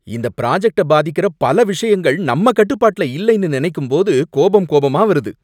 இந்த ப்ராஜெக்ட்ட பாதிக்கிற பல விஷயங்கள் நம்ம கட்டுப்பாட்டுல இல்லைன்னு நினைக்கும்போது கோபம், கோபமா வருது.